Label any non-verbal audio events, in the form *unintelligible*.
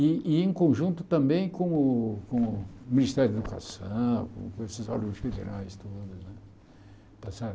E e em conjunto também com o com o Ministério da Educação, com *unintelligible* federais todos. Está certo